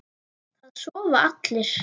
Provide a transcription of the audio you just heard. Það sofa allir.